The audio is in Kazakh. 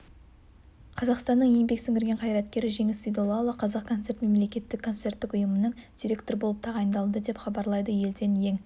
қазақстанның еңбек сіңірген қайраткері жеңіс сейдоллаұлы қазақ концерт мемлекеттік концерттік ұйымының директоры болып тағайындалды деп хабарлайды елден ең